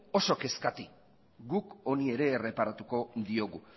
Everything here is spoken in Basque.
oso kezkati guk honi ere erreparatuko diogu